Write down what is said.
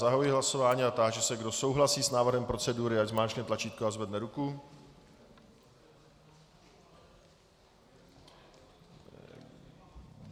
Zahajuji hlasování a táži se, kdo souhlasí s návrhem procedury, ať zmáčkne tlačítko a zvedne ruku.